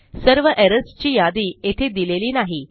सर्व एरर्स ची यादी येथे दिलेली नाही